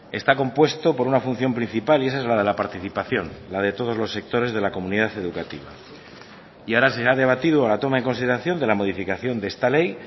está compuesto por una función principal y esa es la de la participación la de todos los sectores de la comunidad educativa y ahora se ha debatido a la toma en consideración de la modificación de esta ley